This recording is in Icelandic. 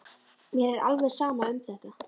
Mér er alveg sama um þetta.